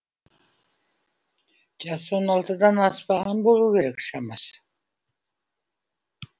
жасы он алтыдан аспаған болу керек шамасы